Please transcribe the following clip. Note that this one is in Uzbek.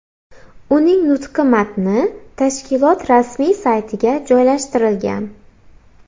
Uning nutqi matni tashkilot rasmiy saytiga joylashtirilgan.